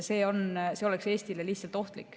See oleks Eestile lihtsalt ohtlik.